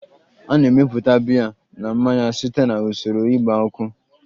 A na-emepụta biya na mmanya site na usoro igba uka